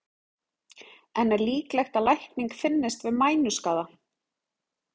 En er líklegt að lækning finnist við mænuskaða?